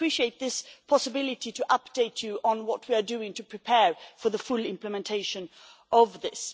I appreciate this possibility to update you on what we are doing to prepare for the full implementation of this.